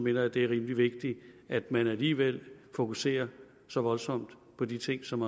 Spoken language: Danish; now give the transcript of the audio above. jeg at det er rimelig vigtigt at man alligevel fokuserer så voldsomt på de ting som